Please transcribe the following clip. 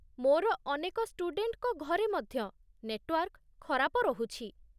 ମୋର ଅନେକ ଷ୍ଟୁଡେଣ୍ଟଙ୍କ ଘରେ ମଧ୍ୟ ନେଟୱାର୍କ ଖରାପ ରହୁଛି।